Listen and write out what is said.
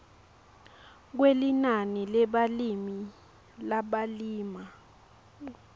kwelinani lebalimi labalima